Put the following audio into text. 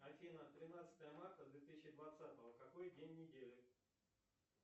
афина тринадцатое марта две тысячи двадцатого какой день недели